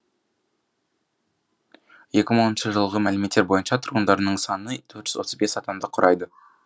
екі мың оныншы жылғы мәліметтер бойынша тұрғындарының саны төрт жүз отыз бес адамды құрайды